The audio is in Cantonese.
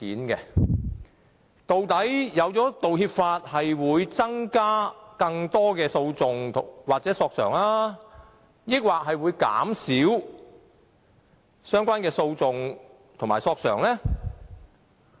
究竟制定《道歉條例》後，會增加更多訴訟或索償，還是減少相關的訴訟和索償呢？